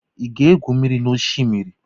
I ga-egwu mmiri oshimiri?